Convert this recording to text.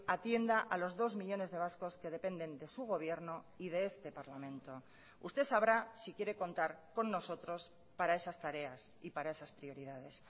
atienda a los dos millónes de vascos que dependen de su gobierno y de este parlamento usted sabrá si quiere contar con nosotros para esas tareas y para esas prioridades